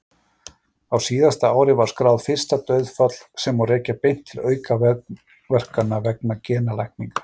Á síðasta ári var skráð fyrsta dauðsfall sem má rekja beint til aukaverkana vegna genalækninga.